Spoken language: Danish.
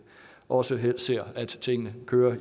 også helst ser at tingene kører